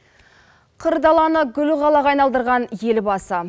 қыр даланы гүл қалаға айналдырған елбасы